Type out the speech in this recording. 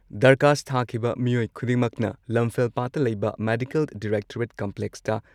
ꯗꯔꯈꯥꯁ ꯊꯥꯈꯤꯕ ꯃꯤꯑꯣꯏ ꯈꯨꯗꯤꯡꯃꯛꯅ ꯂꯝꯐꯦꯜꯄꯥꯠꯇ ꯂꯩꯕ ꯃꯦꯗꯤꯀꯜ ꯗꯤꯔꯦꯛꯇꯣꯔꯦꯠ ꯀꯝꯄ꯭ꯂꯦꯛꯁꯇ